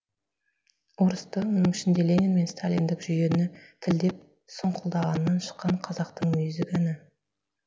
орысты оның ішінде ленин мен сталиндік жүйені тілдеп сұңқылдағаннан шыққан қазақтың мүйізі кәні